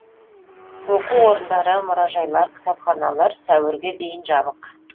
оқу орындары мұражайлар кітапханалар сәуірге дейін жабық